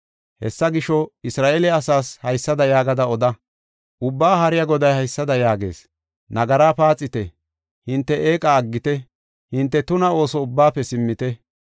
“Hessa gisho, Isra7eele asaas haysada yaagada oda. Ubbaa Haariya Goday haysada yaagees; nagara paaxite; hinte eeqa aggite; hinte tuna ooso ubbaafe simmite.